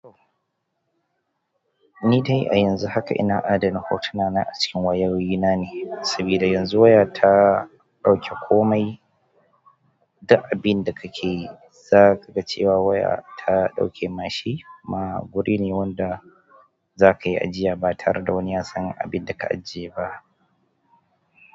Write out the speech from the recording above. Ni dai a yanzu haka ina adana hotuna na acikin wayoyi na ne, sabida yanzu waya ta ɗauke komai duk abin da kake yi zakaga cewa waya ta ɗauke ma shi. Kuma guri ne wanda zakayi ajiya ba tare da wani ya san abinda ka ajiye ba.